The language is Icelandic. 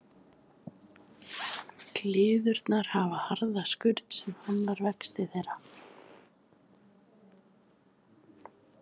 Gyðlurnar hafa harða skurn sem hamlar vexti þeirra.